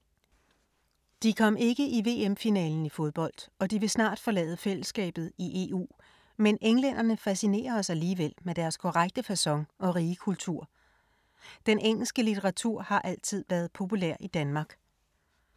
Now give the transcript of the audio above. De kom ikke i VM-finalen i fodbold og de vil snart forlade fællesskabet i EU, men englænderne fascinerer os alligevel med deres korrekte facon og rige kultur. Den engelske litteratur har altid været populær i Danmark.